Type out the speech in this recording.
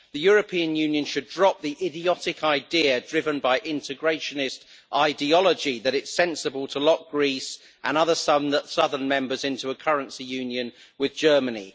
The European Union should drop the idiotic idea driven by integrationist ideology that it is sensible to lock Greece and other southern members into a currency union with Germany.